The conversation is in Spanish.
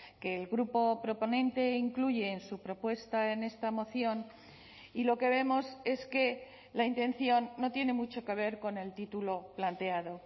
que el grupo proponente incluye en su propuesta en esta moción y lo que vemos es que la intención no tiene mucho que ver con el título planteado